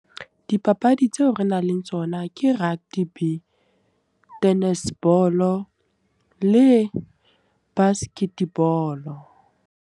Dipapadi tseo re nang le tsona ke rugby, tennis ball le basket ball.